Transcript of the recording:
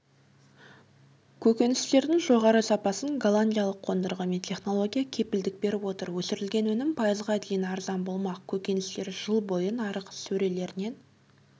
көкөністердің жоғары сапасын голландиялық қондырғы мен технология кепілдік беріп отыр өсірілген өнім пайызға дейін арзан болмақ көкөністер жыл бойы нарық сөрелерінен